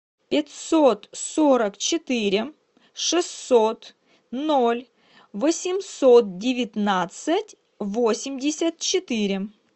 пятьсот сорок четыре шестьсот ноль восемьсот девятнадцать восемьдесят четыре